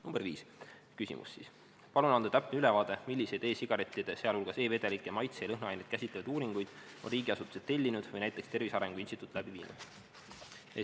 Küsimus nr 5: "Palun anda täpne ülevaade milliseid e-sigarette, sealhulgas e-vedelike maitse- ja lõhnaaineid, käsitlevaid uuringuid on riigiasutused tellinud või näiteks Tervise Arengu Instituut läbi viinud?